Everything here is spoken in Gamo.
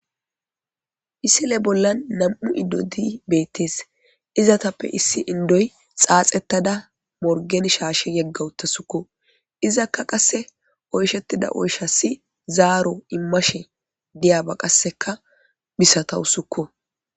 Misile bolan nam'u indoti betetes izetape issi xaxetada morgen shashe yega utaduskko izaka qase oyshetida oyshas zaro imashe diyaba qaseka misatasikko